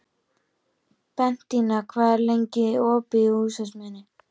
Bentína, hvað er lengi opið í Húsasmiðjunni?